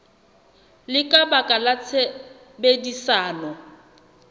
le ka baka la tshebedisano